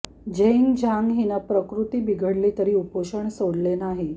Zheng Zhang हिनं प्रकृती बिघडली तरी उपोषण सोडलेले नाही